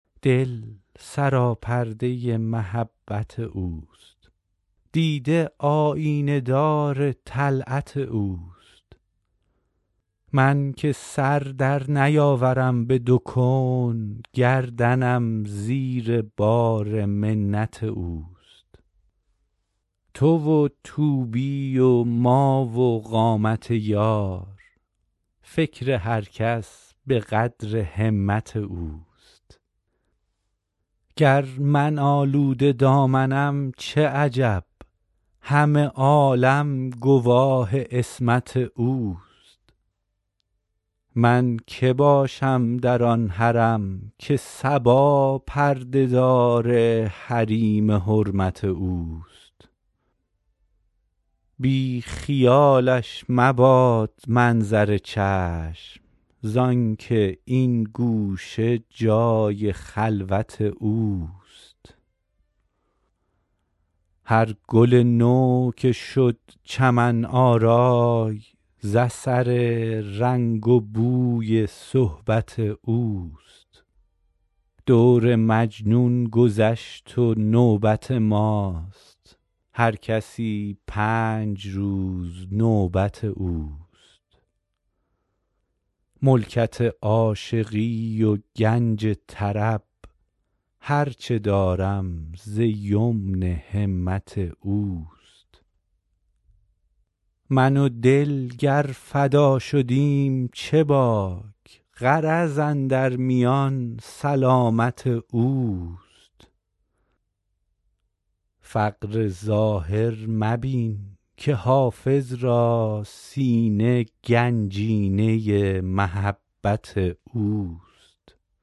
دل سراپرده محبت اوست دیده آیینه دار طلعت اوست من که سر در نیاورم به دو کون گردنم زیر بار منت اوست تو و طوبی و ما و قامت یار فکر هر کس به قدر همت اوست گر من آلوده دامنم چه عجب همه عالم گواه عصمت اوست من که باشم در آن حرم که صبا پرده دار حریم حرمت اوست بی خیالش مباد منظر چشم زآن که این گوشه جای خلوت اوست هر گل نو که شد چمن آرای ز اثر رنگ و بوی صحبت اوست دور مجنون گذشت و نوبت ماست هر کسی پنج روز نوبت اوست ملکت عاشقی و گنج طرب هر چه دارم ز یمن همت اوست من و دل گر فدا شدیم چه باک غرض اندر میان سلامت اوست فقر ظاهر مبین که حافظ را سینه گنجینه محبت اوست